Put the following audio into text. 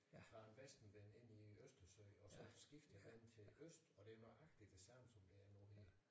Fra en vestenvind ind i østersøen og så skiftede den til øst og det er nøjagtig det samme som det er nu det